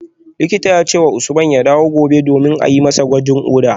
Likitan ya ce wa Usman ya dawo gobe domin a yi masa gwajin koda